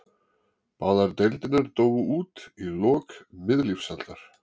Báðar deildirnar dóu út í lok miðlífsaldar.